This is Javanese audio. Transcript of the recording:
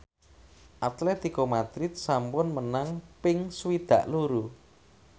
Atletico Madrid sampun menang ping swidak loro